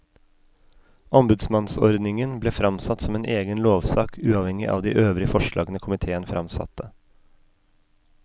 Ombudsmannsordningen ble framsatt som en egen lovsak uavhengig av de øvrige forslagene komiteen framsatte.